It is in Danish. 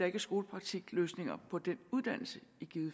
er en skolepraktikløsning på den uddannelse